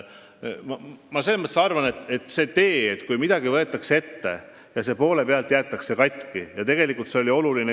Ma arvan, et see, kui olulise küsimuse puhul võetakse midagi ette ja jäetakse siis asi poole pealt katki, ei ole hea.